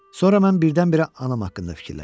Sonra mən birdən-birə anam haqqında fikirləşdim.